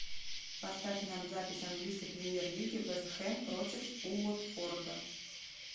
поставь нам запись английской премьер лиги вест хэм против уотфорда